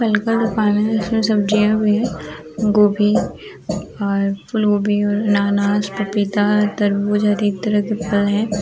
बैगन पानी जैसा सब्जियां भी है गोभी और फुल गोभी अनाज पपीता है तरबूज है अनेक तरह की थाल है।